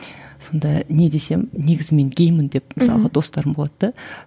сонда не десем негізі мен геймін деп мысалға достарым болады да